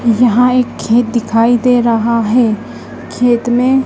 यहां एक खेत दिखाई दे रहा है खेत में--